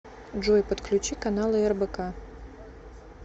джой подключи каналы рбк